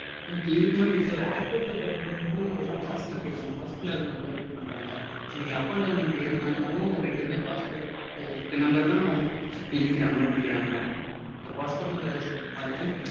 Okay இருக்கு mam. இப்போ airport ல போறப்போ வந்து எல்லாம் passport கேக்கறாங்க. passport ல இருக்க number கேக்கறாங்க. நீங்க up and down ஏறனனாலும் ரெண்டுக்குமே passport ல இருக்க number தா அதுல எழுதிக்கறாங்க note பண்ணிக்கறாங்க. அப்போ passport number அதுக்கு?